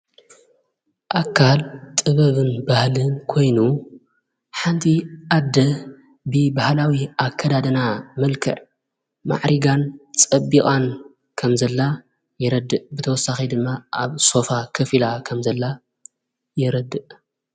ኣካል ጥበብን ባህልን ኮይኑ ሓንቲ ኣደ ብ ብሃላዊ ኣከዳድና መልከዕ ማዕሪጋን ጸቢቓን ከምዘላ የረድእ ብተወሳኺ ድማ ኣብ ሶፋ ከፊላ ኸም ዘላ የረድእ።